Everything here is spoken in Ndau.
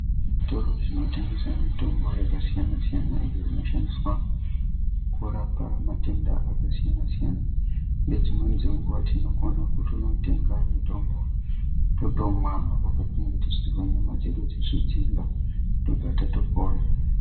Zvitoro zvinotengesa mitombo yakasiyana-siyana iyo inoshandiswa kurapa matenda akasiyana-siyana. Nedzimweni dzenguva tinokona kutonotenga mutombo totomwa apo patinenge tichinzwa nyama dzedu dzichidziimba, tobva tatopona.